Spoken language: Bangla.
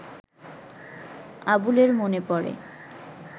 আবুলের মনে পড়ে